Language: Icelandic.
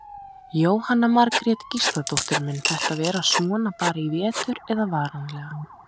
Jóhanna Margrét Gísladóttir: Mun þetta vera svona bara í vetur eða varanlega?